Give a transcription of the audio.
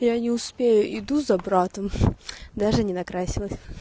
я не успею иду за братом даже не накрасилась